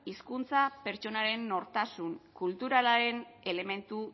hizkuntza pertsonaren nortasun kulturalaren elementu